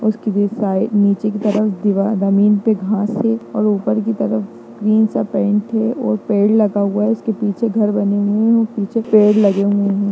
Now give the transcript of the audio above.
Side नीचे की तरफ दीवार जमीन पे घास है और ऊपर की तरफ ग्रीन सा पेन्ट है और पेड़ लगा हुआ है और उसके पीछे घर बने हुए है और पीछे पेड़ लगे हुए है।